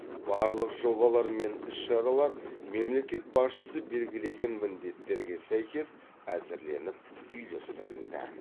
барлық жобалар мен іс шаралар мемлекет басшысы белгілеген міндеттерге сәйкес әзірленіп үйлестірілді